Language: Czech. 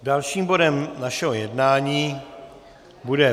Dalším bodem našeho jednání bude